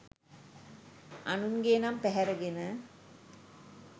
අනුන්ගේ නම් පැහැරගෙන